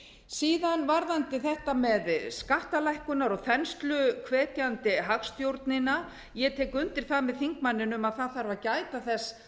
síðan varðandi þetta með skattalækkunar og þensluhvetjandi hagstjórnina ég tek undir það með þingmanninum að það þarf að gæta þess